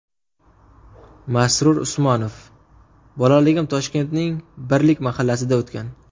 Masrur Usmonov : Bolalagim Toshkentning Birlik mahallasida o‘tgan.